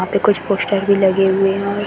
यहाँ पे कुछ पोस्टर भी लगे हुए हैं।